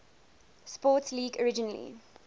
sports league originally